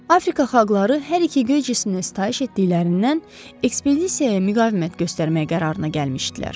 Afrika xalqları hər iki göy cisminə sitayiş etdiklərindən ekspedisiyaya müqavimət göstərmək qərarına gəlmişdilər.